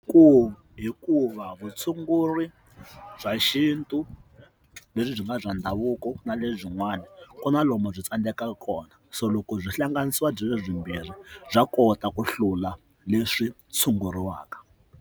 Ku hikuva vutshunguri bya xintu lebyi byi nga bya ndhavuko na le byin'wana ku na lomu byi tsandeka kona so loko byi hlanganisiwa byiri byi mbirhi bya kota ku hlula leswi tshunguriwaka.